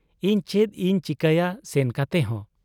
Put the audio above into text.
ᱤᱧ ᱪᱮᱫ ᱤᱧ ᱪᱤᱠᱟᱹᱭᱟ ᱥᱮᱱ ᱠᱟᱛᱮᱦᱚᱸ ?